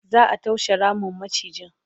za'a toshe Ramin macijin